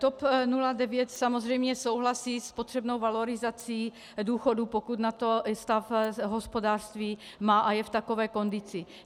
TOP 09 samozřejmě souhlasí s potřebnou valorizací důchodů, pokud na to stav hospodářství má a je v takové kondici.